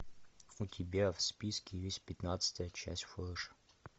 у тебя в списке есть пятнадцатая часть флэша